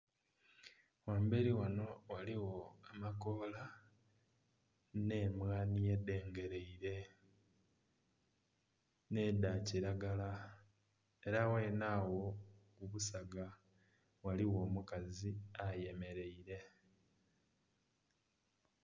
Ghamberi ghano ghaligho amakoola n'emwani edhengeraire n'edha kiragala era ghene agho obusaga ghaligho omukazi ayemereire.